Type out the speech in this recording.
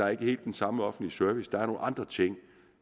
er helt den samme offentlige service der er nogle andre ting